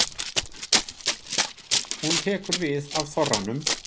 Hún tekur við af þorranum.